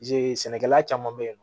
sɛnɛkɛla caman bɛ yen